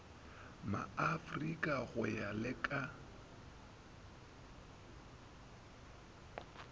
maafrika go ya le ka